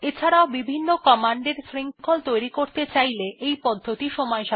এছাড়াও য বিভিন্ন কমান্ড এর শৃঙ্খল তৈরী করতে চাইলে এই পদ্ধতিটি সময়সাপেক্ষ